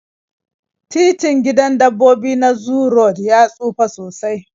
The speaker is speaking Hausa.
Titin gidan dabbobi na zoo road ya tsufa sosai